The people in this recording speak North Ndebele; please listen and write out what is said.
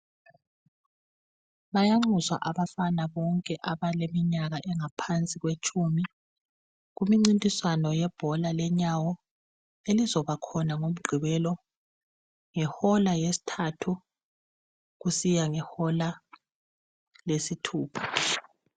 Bayanxuswa abafana bonke abaleminyaka engaphansi kwetshumi kumncintiswano yebhola lenyawo elizakubakhona ngoMgqibelo ngehola yesithathu kusiya ngehola lesithupha.